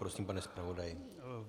Prosím, pane zpravodaji.